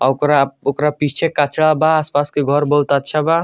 औकरा ओकरा पीछे कचरा बा आस-पास के घोर बहुत अच्छा बा।